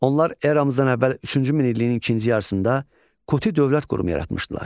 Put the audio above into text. Onlar eramızdan əvvəl üçüncü minilliyin ikinci yarısında Kuti dövlət qurumu yaratmışdılar.